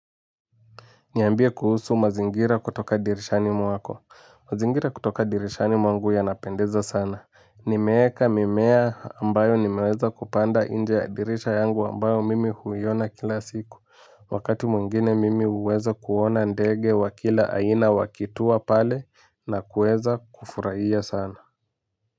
Niambie kuhusu mazingira kutoka dirishani mwako, mazingira kutoka dirishani mwangu yanapendeza sana. Nimeweka mimea ambayo nimeweza kupanda nje ya dirisha yangu ambayo mimi huiona kila siku. Wakati mwengine mimi huweza kuona ndege wa kila aina wakitua pale na kuweza kufurahia sana.